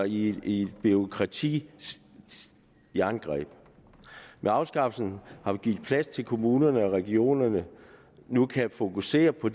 i et bureaukratisk jerngreb med afskaffelsen har vi givet plads til at kommunerne og regionerne nu kan fokusere på